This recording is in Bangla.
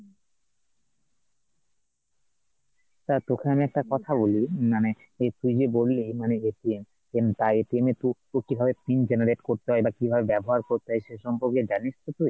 দেখ তোকে একটা কথা বলি মানে এই তুই যে বললি মানে টা এ এ তুই কিভাবে pin generate করতে হয় এটা কিভাবে ব্যাবহার করতে হয় সে সম্পর্কে জানিস তো তুই ?